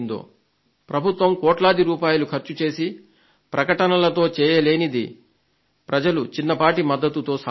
ప్రభుత్వం కోట్లాది రూపాయలు ఖర్చుచేసి ప్రకటనలతో చేయలేని పనిని మీ ప్రజలు చిన్నపాటి మద్దతుతో సాధించారు